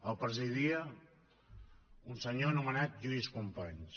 el presidia un senyor anomenat lluís companys